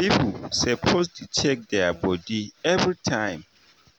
people suppose dey check their body everytime